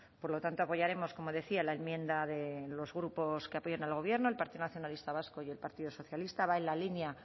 por lo tanto apoyaremos como decía la enmienda de los grupos que apoyan al gobierno el partido nacionalista vasco y el partido socialista va en la línea